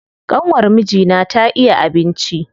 ƙanwar mijina ta iya abinci.